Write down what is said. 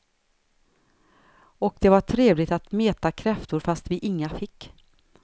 Och det var trevligt att meta kräftor fast vi inga fick.